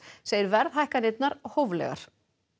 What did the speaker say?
segir verðhækkanirnar hóflegar